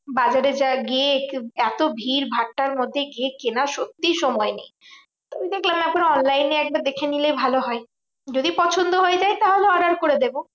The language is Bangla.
বাজারে যা গিয়ে এত ভিড় ভাট্টার মধ্যে গিয়ে কেনার সত্যি সময় নেই। আমি দেখলাম এখন online এ একবার দেখে নিলে ভালো হয়। যদি পছন্দ হয়ে যায় তাহলে order করে দেব।